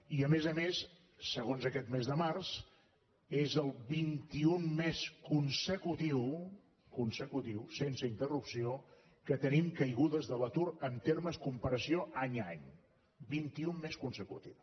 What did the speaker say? i a més a més segons aquest mes de març és el vinti unè mes consecutiu consecutiu sense interrupció que tenim caigudes de l’atur en termes comparació any a any vint i unè mes consecutiu